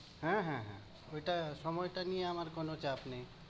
হ্যাঁ হ্যাঁ হ্যাঁ, ঐটা সময়টা নিয়ে আমার কোনো চাপ নেই।